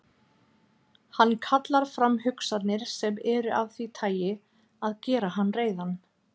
Hann kallar fram hugsanir sem eru af því tagi að gera hann reiðan.